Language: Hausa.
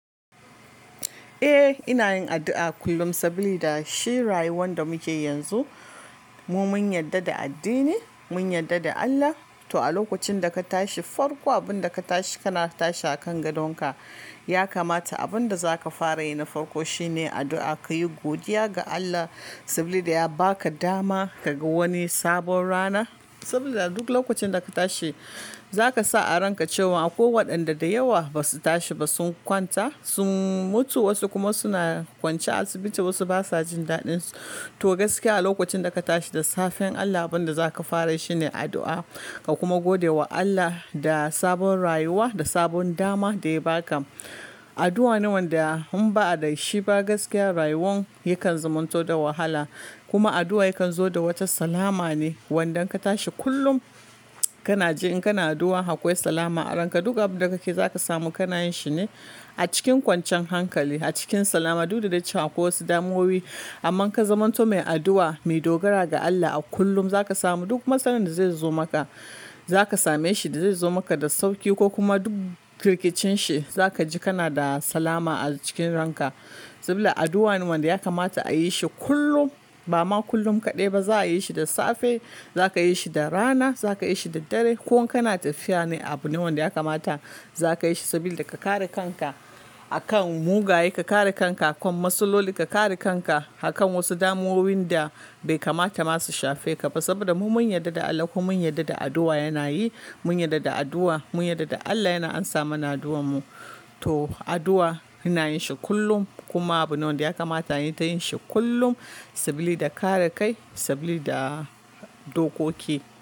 Eh ina yin addu'a kullum saboda shi rayuwan da muke yanzu mu mun yadda da addini mun yadda da Allah. To a lokacin da ka tashi farko abinda ka tashi kana tashi a kan gadonka ya kamata abinda zaka fara yana farko shine addu'a ka yi godiya ga Allah saboda ya baka dama kaga wani sabon rana. Saboda duk lokacin da ka tashi zaka sa a ranka cewa akwai waɗanda da yawa basu tashi ba sun kwanta sun mutu wasu kuma suna kwance asibiti wasu basu'a jin daɗinsu. To gaskiya a lokacin da ka tashi da safen Allah abin da zaka fara shi ne addu'a ka kuma gode wa Allah da sabon rayuwa da sabon dama da ya baka. Addu'a ne wanda in ba a da shi ba gaskiya rayuwan yakan zumunto da wahala kuma addu'a yakan zo da wata salama ne. Wadanda ka tashi kullum kana ji in kana addu'a akwai salama a ranka duk abin da kake zaka samu kana yin shine a cikin kwancan hankali a cikin salama duk da daccen akwai wasu damuwoyi amma ka zamanto mai addu'a mai dogara ga Allah a kullum zaka samu duk matsalar da zai zo maka zaka same shi da zai zo maka da sauki ko kuma duk rikicinshi zaka ji kana da salama a cikin ranka. Saboda addu'a ne wanda ya kamata a yi shi kullum ba ma kullum kaɗai ba za'a yi shi da safe zaka yi shi da rana zaka yi shi da dare ko kan tafi ya ne abu ne wanda ya kamata zaka yi shi saboda ka kare kanka akan mugaye ka kare kanka a kan matsaloli ka kare kanka a kan wasu damuwoyin da bai kamata masu shafe ka ba. Saboda mu mun yadda da Allah kuma mun yadda da addu'a yana yi mun yadda da addu'a mun yadda da Allah yana amsa mana addu'ar mu. To addu'a ina yin shi kullum kuma abu ne wanda ya kamata anyi ta yin shi kullum saboda kare kai saboda dokoki.